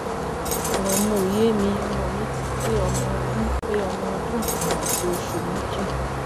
ọ̀rọ̀ mi ò yé mi ọmọ mi ti pé ọmọ ọdún pé ọmọ ọdún kan àti oṣù méjì